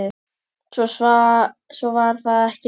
Svo var það ekki meira.